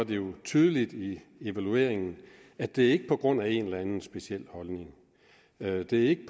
det jo tydeligt i evalueringen at det ikke er på grund af en eller anden speciel holdning og at det ikke